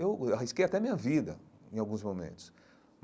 Eu arrisquei até a minha vida em alguns momentos.